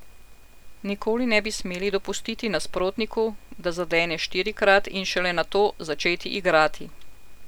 Nikoli ne bi smeli dopustiti nasprotniku, da zadene štirikrat, in šele nato začeti igrati.